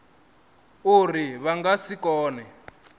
uri vha nga si kone